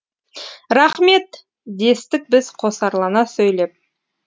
рақмет дестік біз қосарлана сөйлеп